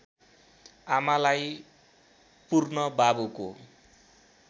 आमालाई पुर्न बाबुको